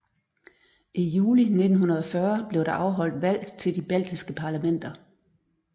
I juli 1940 blev der afholdt valg til de baltiske parlamenter